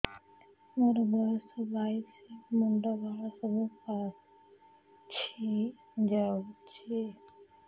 ମୋର ବୟସ ବାଇଶି ମୁଣ୍ଡ ବାଳ ସବୁ ପାଛି ଯାଉଛି